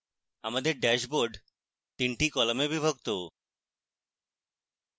আমাদের ড্যাশবোর্ড 3 কলামে বিভক্ত